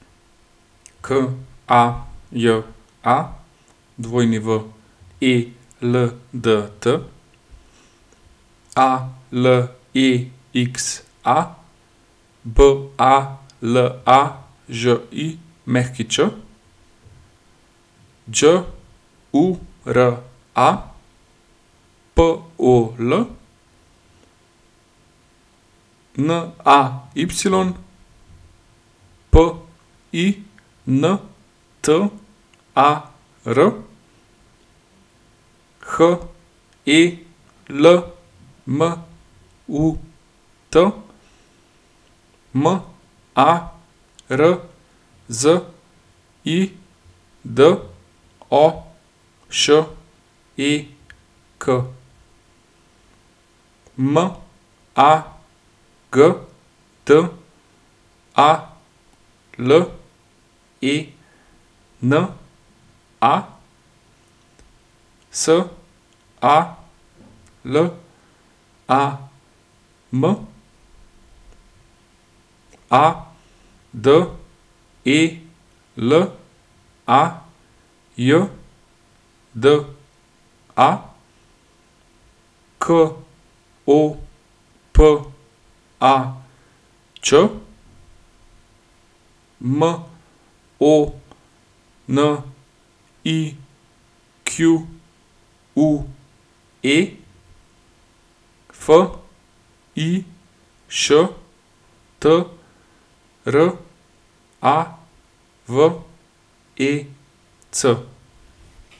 Kaja Weldt, Alexa Balažić, Đura Pol, Nay Pintar, Helmut Marzidošek, Magdalena Salam, Adelajda Kopač, Monique Fištravec.